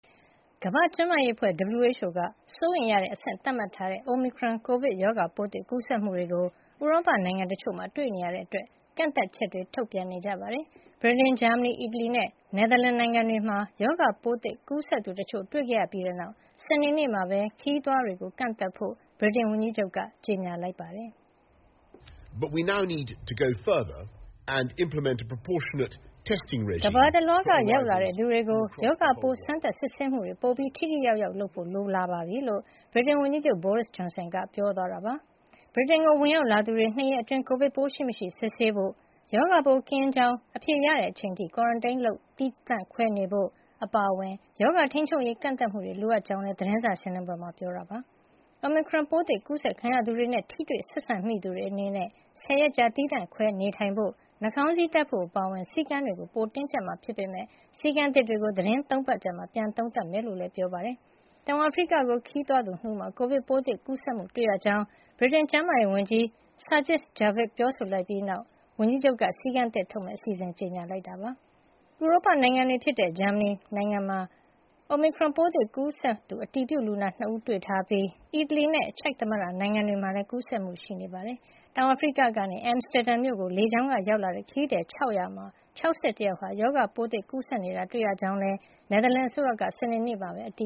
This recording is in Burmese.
ကမ္ဘာ့ကျန်းမာရေးအဖွဲ့ (WHO) က စိုးရိမ်ရတဲ့အဆင့် သတ်မှတ်ထားတဲ့ Omicron ကိုဗစ်ရောဂါပိုးသစ် ကူးစက်မှုတွေကို ဥရောပနိုင်ငံတချို့မှာ တွေ့ရှိရတာကြောင့် ကန့်သတ်ချက်တွေ ထုတ်ပြန်နေကြပါတယ်။ ဗြိတိန်၊ ဂျာမနီ၊ အီတလီနဲ့ နယ်သာလန် နိုင်ငံတွေမှာ ရောဂါပိုးသစ် ကူးစက်သူတချို့ တွေ့ခဲ့ရပြီးနောက် စနေနေ့မှာပဲ ခရီးသွားတွေကို ကန့်သတ်ဖို့ ဗြိတိန်ဝန်ကြီးချုပ်က ကြေညာလိုက်ပါတယ်။ “ကမ္ဘာတလွှားက ရောက်လာတဲ့သူတွေကို ရောဂါပိုး စမ်းသပ်စစ်ဆေးမှုတွေ ပိုပြီး ထိထိရောက်ရောက်လုပ်ဖို့ လိုအပ်လာပါပြီ။” လို့ ဗြိတိန်ဝန်ကြီးချုပ် Boris Johnson က ပြောသွားတာပါ။ ဗြိတိန်ကို ဝင်ရောက်လာသူတွေ ၂ ရက်အတွင်း ကိုဗစ်ပိုးရှိမရှိ စစ်ဆေးဖို့၊ ရောဂါပိုး ကင်းရှင်းကြောင်း အဖြေရတဲ့ အချိန်အထိ Quarantine သီးသန့်ခွဲ နေထိုင်ဖို့ အပါအဝင် ရောဂါထိန်းချုပ်ရေး ကန့်သတ်မှုတွေ လိုအပ်ကြောင်းလည်း သတင်းစာရှင်းလင်းပွဲမှာ ပြောကြားခဲ့ပါတယ်။ Omicron ပိုးသစ် ကူးစက်ခံရသူတွေနဲ့ ထိတွေ့ဆက်ဆံမိသူတွေ အနေနဲ့ ၁၀ ရက်ကြာ သီးသန့်ခွဲနေထိုင်ဖို့၊ နှာခေါင်းစည်းတပ်ဖို့ အပါအဝင် စည်းကမ်းတွေကို ပိုမိုတင်းကျပ်မှာ ဖြစ်ပေမယ့် စည်းကမ်းသစ်တွေကို သီတင်း ၃ ပတ်အကြာမှာ ပြန်လည်သုံးသပ်မှာ ဖြစ်ကြောင်းလည်း ပြောပါတယ်။ တောင်အာဖရိကကို ခရီးသွားခဲ့တဲ့သူ ၂ ဦးမှာ ကိုဗစ်ပိုးသစ် ကူးစက်မှု တွေ့ရှိခဲ့ရကြောင်း ဗြိတိန်ကျန်းမာရေးဝန်ကြီး Sajid Javid က ပြောဆိုလိုက်ပြီးနောက် ဝန်ကြီးချုပ်က စည်းကမ်းသစ်ထုတ်မယ့် အစီအစဉ်တွေကို ကြေညာခဲ့တာလည်း ဖြစ်ပါတယ်။ ဥရောပနိုင်ငံတွေဖြစ်ကြတဲ့ ဂျာမနီနိုင်ငံမှာ Omicron ပိုးသစ် ကူးစက်သူ အတည်ပြုလူနာ ၂ ဦး တွေ့ရှိထားပြီး အီတလီနဲ့ ချက်သမ္မတနိုင်ငံတွေမှာလည်း ကူးစက်မှုတွေ တွေ့ရှိထားတာပါ။ တောင်အာဖရိကကနေ Amsterdam မြို့ကို လေကြောင်းက ရောက်လာတဲ့ ခရီးသည် ၆၀၀ မှာ ၆၁ ယောက် ရောဂါပိုးသစ် ကူးစက်နေတာ တွေ့ရကြောင်းလည်း နယ်သာလန်အစိုးရက စနေနေ့မှာပဲ အတ